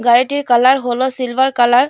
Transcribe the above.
গাড়িটির কালার হল silver colour.